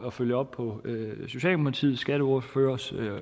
at følge op på socialdemokratiets skatteordførers